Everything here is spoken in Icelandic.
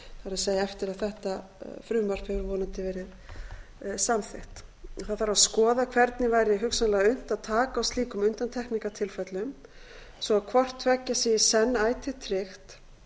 er eftir að þetta frumvarp hefur vonandi verið samþykkt skoða þarf hvernig væri hugsanlega unnt að taka á slíkum undantekningartilfellum svo að hvort tveggja í senn sé ætíð tryggt